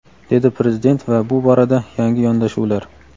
dedi Prezident va bu borada yangi yondashuvlar:.